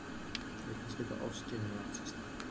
auk þess geta ofskynjanir átt sér stað